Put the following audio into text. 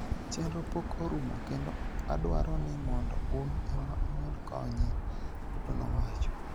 Chenrono pok orumo kendo adwaro ni mondo un ema umed konye", Ruto nowacho.